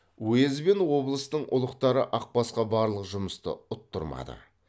уезд бен облыстың ұлықтары ақбасқа барлық жұмысты ұттырмады